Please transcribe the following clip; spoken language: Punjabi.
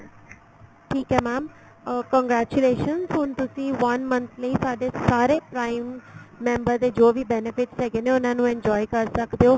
ਠੀਕ ਏ mam ਅਹ congratulation ਹੁਣ ਤੁਸੀਂ one month ਲਈ ਸਾਡੇ ਸਾਰੇ prime member ਦੇ ਜੋ ਵੀ benefits ਹੈਗੇ ਨੇ ਉਹਨਾ ਨੂੰ enjoy ਕਰ ਸਕਦੇ ਓ